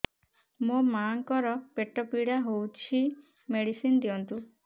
ମୋ ମାଆଙ୍କର ପେଟ ପୀଡା ହଉଛି ମେଡିସିନ ଦିଅନ୍ତୁ